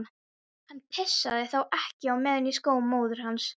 Hann pissaði þá ekki á meðan í skó móður hans.